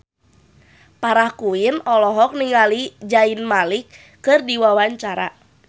Farah Quinn olohok ningali Zayn Malik keur diwawancara